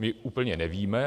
My úplně nevíme.